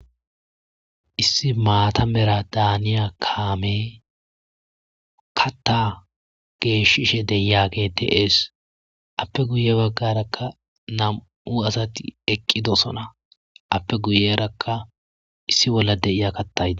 issi maata mera daaniya kaame katta geeshishe deyage de7ees appe guye baggarakka nam7u asati eqqidosona appe guyerakka issi bolla deiya kattaya.